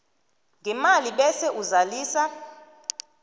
ngemali bese uzalisa